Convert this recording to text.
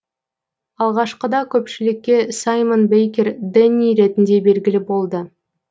алғашқыда көпшілікке саймон бейкер дэнни ретінде белгілі болды